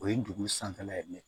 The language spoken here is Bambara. O ye dugu sanfɛla ye